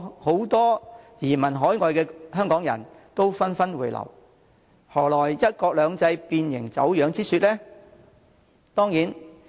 很多移民海外的香港人紛紛回流，何來"一國兩制"變形、走樣之說？